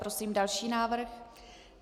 Prosím další návrh.